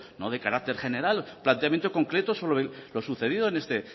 no de carácter general planteamiento concreto sobre lo sucedido en este